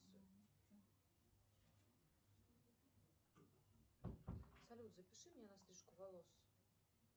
салют запиши меня на стрижку волос